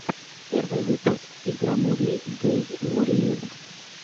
первый выпуск игромурии гейммурии